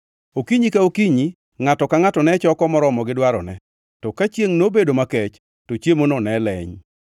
Okinyi ka okinyi ngʼato ka ngʼato ne choko moromo gi dwarone to ka chiengʼ nobedo makech to chiemono ne oleny.